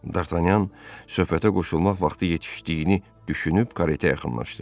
D'Artanyan söhbətə qoşulmaq vaxtı yetişdiyini düşünüb karete yaxınlaşdı.